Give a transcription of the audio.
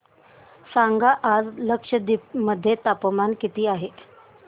सांगा आज लक्षद्वीप मध्ये तापमान किती आहे